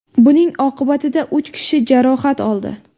Buning oqibatida uch kishi jarohat oldi.